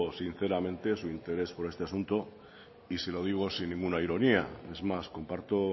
sinceramente su interés por este asunto y se lo digo sin ninguna ironía es más comparto